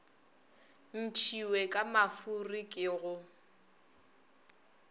ntšhiwe ka mafuri ke go